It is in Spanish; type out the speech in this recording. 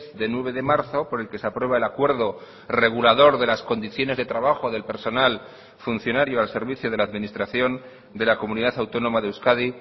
de nueve de marzo por el que se aprueba el acuerdo regulador de las condiciones de trabajo del personal funcionario al servicio de la administración de la comunidad autónoma de euskadi